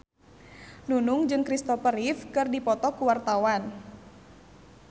Nunung jeung Christopher Reeve keur dipoto ku wartawan